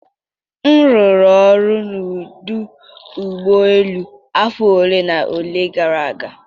m rụrụ ọrụ n'ọdụ ụgbọ elu afọ ole na ole gara aga